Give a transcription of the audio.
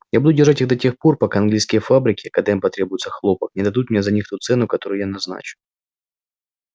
я буду держать их до тех пор пока английские фабрики когда им потребуется хлопок не дадут мне за них ту цену которую я назначу